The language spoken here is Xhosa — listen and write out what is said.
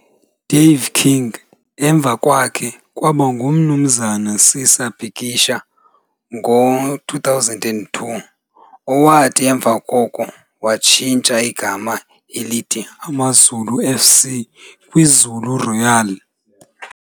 Dave King emva kwakhe kwaba nguMnumzana Sisa Bikisha ngo-2002, owathi emva koko watshintsha igama elithi AmaZulu F.C. kwiZulu Royal.